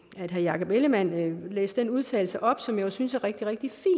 herre jakob ellemann jensen læste den udtalelse op som jeg synes er rigtig rigtig